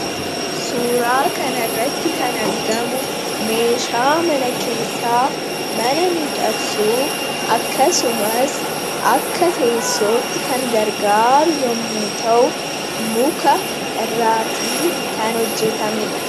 Suuraa kanarratti kan argamu meeshaa mana keessaa mana miidhagsuuf akkasumas akka teessootti kan gargaaru yommuu ta'u, muka irraatii kan hojjatamedha.